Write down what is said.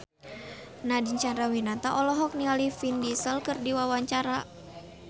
Nadine Chandrawinata olohok ningali Vin Diesel keur diwawancara